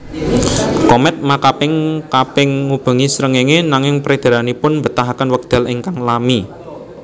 Komèt makaping kaping ngubengi srengéngé nanging peredaranipun mbetahaken wekdal ingkang lami